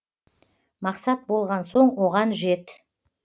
мақсат болған соң оған жет